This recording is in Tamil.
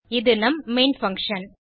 இது நம் மெயின் பங்ஷன்